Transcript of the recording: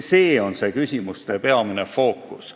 See on küsimuste peamine fookus.